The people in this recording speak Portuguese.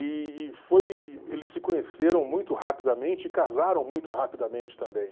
E e foi, eles se conheceram muito rapidamente e casaram muito rapidamente também.